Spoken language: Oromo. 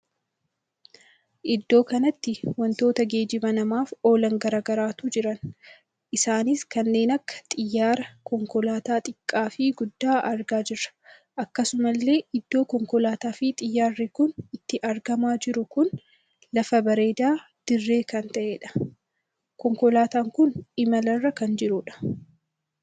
Iddoo kanatti wantoota geejjiba namaaf oolan garaagaratu jiran. isaanis kanneen akka xiyyaara, konkolaataa xiqqaa fi guddaa argaa jirra. akkasumallee iddoo konkolaataa fi xiyyaarri kun itti argamaa jiru kun lafa bareedaa dirree kan taheedha. konkolaataan kun imala irra kan jirudha.